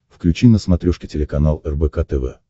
включи на смотрешке телеканал рбк тв